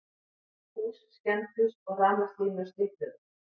Hús skemmdust og rafmagnslínur slitnuðu